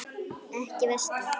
Ekki veski.